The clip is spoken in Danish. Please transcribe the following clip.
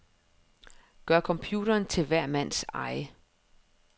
Gør computeren til hver mands eje.